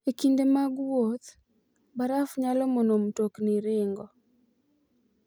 E kinde mag wuoth, baraf nyalo mono mtokni ringo.